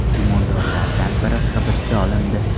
Gumondorlardan biri hibsga olindi.